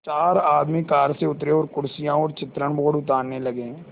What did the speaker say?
चार आदमी कार से उतरे और कुर्सियाँ और चित्रण बोर्ड उतारने लगे